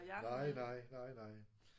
Nej nej. Nej nej